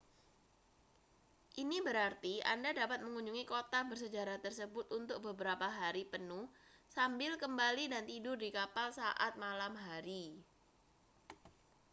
ini berarti anda dapat mengunjungi kota bersejarah tersebut untuk beberapa hari penuh sambil kembali dan tidur di kapal saat malam hari